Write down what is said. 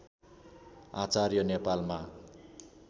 आचार्य नेपालमा